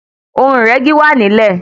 Ohun ìrẹ́gi wà nílẹ̀.